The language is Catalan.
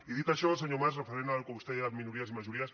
i dit això senyor mas referent al que vostè deia de minories i majories